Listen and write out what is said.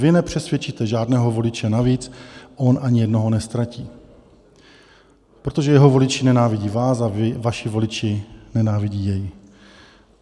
Vy nepřesvědčíte žádného voliče navíc, on ani jednoho neztratí, protože jeho voliči nenávidí vás a vaši voliči nenávidí jej.